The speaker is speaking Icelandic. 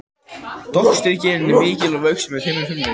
Doktorsritgerðin er ekki mikil að vöxtum en þeim mun frumlegri.